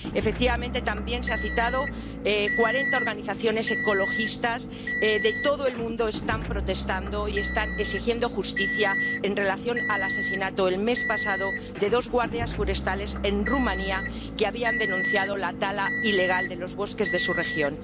Efectivamente, como también se ha citado, cuarenta organizaciones ecologistas de todo el mundo están protestando y están exigiendo justicia en relación con el asesinato, el mes pasado, de dos guardias forestales en Rumanía que habían denunciado la tala ilegal de los bosques de su región.